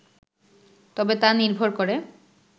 তবে তা নির্ভর করে